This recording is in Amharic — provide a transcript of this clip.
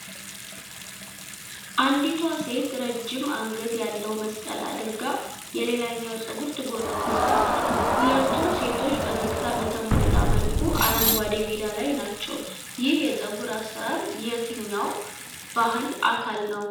አንዲቷ ሴት ረጅም አንገት ያለው መስቀል አድርጋ፣ የሌላኛዋን ፀጉር ትጎነጉናለች። ሁለቱም ሴቶች ፈገግታ በተሞላበት መልኩ አረንጓዴ ሜዳ ላይ ናቸው። ይህ የፀጉር አሰራር የየትኛው ባህል አካል ነው?